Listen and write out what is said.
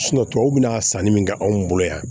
tubabuw bɛna sanni min kɛ anw bolo yan